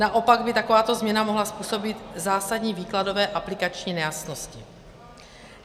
Naopak by takováto změna mohla způsobit zásadní výkladové aplikační nejasnosti.